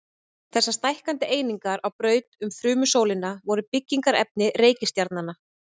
Þessar stækkandi einingar á braut um frumsólina voru byggingarefni reikistjarnanna.